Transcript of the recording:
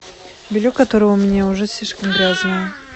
белье которое у меня уже слишком грязное